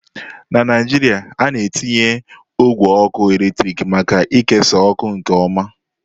Na Naijiria, a na-etinye ogwe ọkụ eletrik maka ikesa ọkụ nke ọma.